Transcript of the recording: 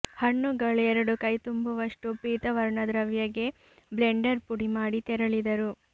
ಹಣ್ಣುಗಳು ಎರಡು ಕೈತುಂಬುವಷ್ಟು ಪೀತ ವರ್ಣದ್ರವ್ಯ ಗೆ ಬ್ಲೆಂಡರ್ ಪುಡಿಮಾಡಿ ತೆರಳಿದರು